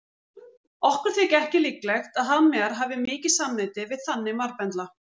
Okkur þykir ekki líklegt að hafmeyjar hafi mikið samneyti við þannig marbendla.